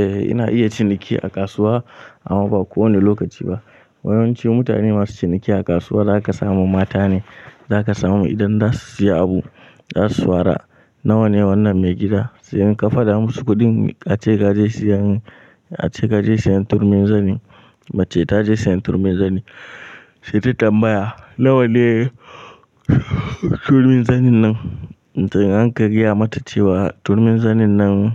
Eh ina iya ciniki a kasuwa amma ba kowane lokaci ba. Yawanci mutane masu ciniki a kasuwa zaka samu mata ne, zaka samu idan zasu siya abu zasu fara "nawane wannan maigida?" Siyan ka fada musu kuɗin ace kaje siyan, ace kaje siyan turmin zani, mace taje siyan turmin zani. Sai ta tambaya "nawa ne turmin zanin nan?" To in ka gaya mata cewa turmin zanin nan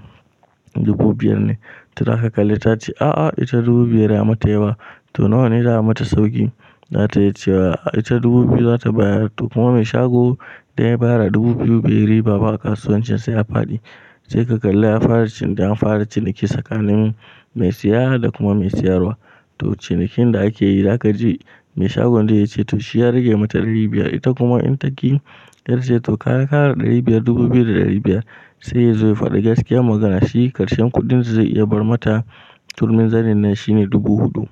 dubu biyar ne, to zaka kalli ta ce, "a'a ita dubu biyar ya mata yawa", to nawa ne za a mata sauki? Za ta iya cewa ita dubu biyu za ta bayar. To kuma mai shagon idan ya bayar a dubu biyu ba riba a kasuwancin sai a faɗi. Sai ka kalla ya fara cin, an fara ciniki tsakanin mai siya da kuma mai siyarwa. To cinikin da ake yi zaka ji mai shagon da yace to shi ya rage mata ɗari biyar. Ita kuma in taƙi ƙarshe to ta ƙara ɗari biyar, dubu biyu da ɗari biyar. Sai yazo ya faɗa gaskiya magana, shi karshen kuɗin dazai iya bar mata turmin zanin nan shine dubu huɗu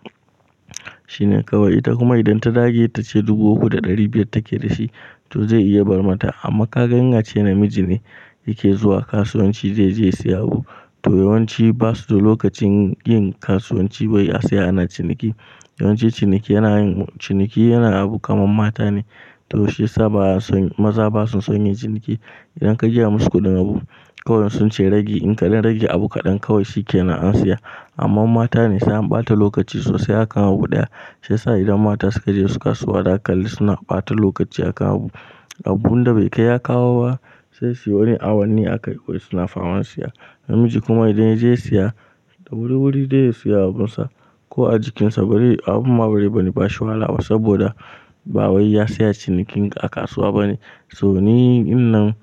shine kawai. Ita kuma idan ta dage tace dubu uku da ɗari biyar take dashi to zai iya bar mata. Amma kaga in ace namiji ne yake zuwa kasuwanci da zai siya abu, to yawanci basu da lokacin yin kasuwanci ba yi asaya na ciniki. Yawanci ciniki yana yin, ciniki yana abu kamar mata ne. To shiyasa ba a son, maza basa son yin ciniki. Idan ka gaya musu kuɗin abu kawai in sunce ragi. In kaɗan rage abu kaɗan kawai shikenan an siya. Amma mata ne sai an ɓata lokaci sosai akan abu ɗaya. Shi ya sa idan mata suka je suka suwa za ka kalli suna ɓata lokaci a kan abu. Abun da bai kai ya kawo ba sai sai wani awanni aka yi suna farar siya. Namiji kuma idan yaje siya da wuri-wuri zai siya abunsa. Ko a jikinsa bari, abunma bazai wani bashi wahala ba saboda ba wai ya saya cinikin a kasuwa bane. So ni, in nan,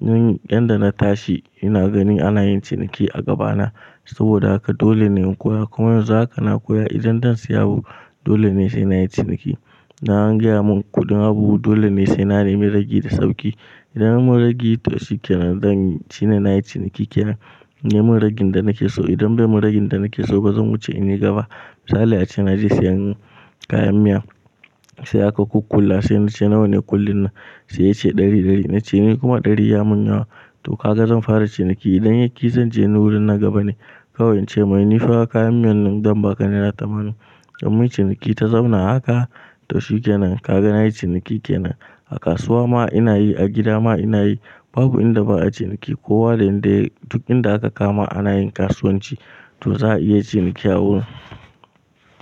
in yanda na tashi ina gani anayin ciniki a gabana saboda haka dolene in koya. Kuma yanzu haka na koya idan zan siya abu dole ne sai na yi ciniki. Idan an gaya mun kuɗin abu dolene sai na nemi rage da sauki. Idan bamu ragi to shikenan zan ci shine nayi ciniki ke nan. Yi mun ragin da nake so idan bai mun ragen da nake so ba zan wuce in yi gaba. Misali ace naje siyan kayan miya sai aka ƙukƙulla sai nace nawa ne ƙullin nan? Sai yace ɗari-ɗari. Nace ni kuma ɗari yamun yawa. To kaga zan fara ciniki idan yaƙi zance ni wurin na gaba ne. Kawai ince mai nifa kayan miyan nan zan baka naira tamanin. Ko muyi ciniki ta zauna haka to shikenan kaga nayi ciniki ke nan. A kasuwa ma inayi, a gida ma inayi babu inda ba a ciniki. Kowa da inda duk inda aka kama ana yin kasuwanci to za a iya ciniki a wurin.